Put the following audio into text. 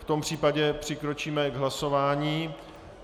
V tom případě přikročíme k hlasování.